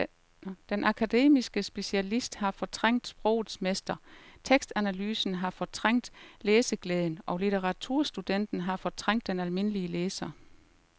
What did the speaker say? Den akademiske specialist har fortrængt sprogets mester, tekstanalysen har fortrængt læseglæden og litteraturstudenten har fortrængt den almindelige læser.